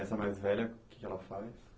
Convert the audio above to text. Essa mais velha, o que que ela faz?